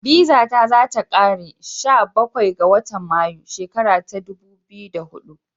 Bizata za ta kare sha Bakwai ga watan Mayu 2 shikara ta dubu biyu hudu.